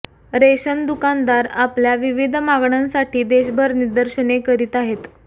ration दुकानदार आपल विविध मागणंसाठी देशभर निदर्शने करीत आहेत